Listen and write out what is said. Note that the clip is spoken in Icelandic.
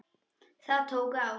Það tók á.